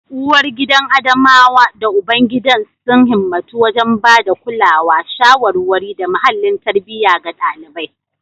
Uwargidan Adamawa da ubangidan sun himmatu wajen ba da kulawa, shawarwari, da muhallin tarbiyya ga ɗalibai.